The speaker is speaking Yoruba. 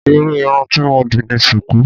Irú irun tí mo dì ni sùkú.